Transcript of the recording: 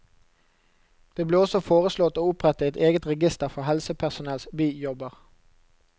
Det ble også foreslått å opprette et eget register for helsepersonells bijobber.